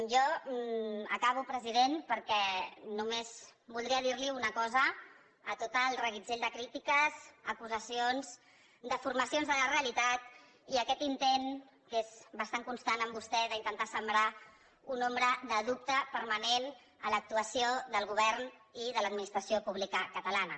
jo acabo president perquè només voldria dir·li una cosa a tot el reguitzell de crítiques acusacions defor·macions de la realitat i aquest intent que és bastant constant en vostè d’intentar sembrar una ombra de dubte permanent a l’actuació del govern i de l’admi·nistració pública catalana